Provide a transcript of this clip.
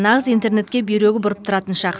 нағыз интернетке бүйрегі бұрып тұратын шақ